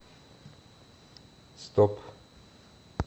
стоп